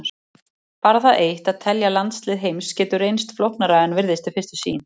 Bara það eitt að telja landslið heims getur reynst flóknara en virðist við fyrstu sýn.